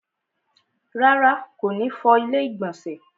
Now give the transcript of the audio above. Rárá, kò ní fọ ilẹ́ ìgbọ̀nsẹ̀